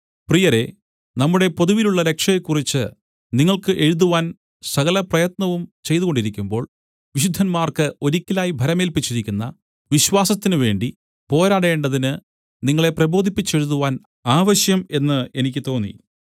പ്രിയരേ നമ്മുടെ പൊതുവിലുള്ള രക്ഷയെക്കുറിച്ച് നിങ്ങൾക്ക് എഴുതുവാൻ സകലപ്രയത്നവും ചെയ്തുകൊണ്ടിരിക്കുമ്പോൾ വിശുദ്ധന്മാർക്ക് ഒരിക്കലായിട്ട് ഭരമേല്പിച്ചിരിക്കുന്ന വിശ്വാസത്തിനുവേണ്ടി പോരാടേണ്ടതിന് നിങ്ങളെ പ്രബോധിപ്പിച്ചെഴുതുവാൻ ആവശ്യം എന്ന് എനിക്ക് തോന്നി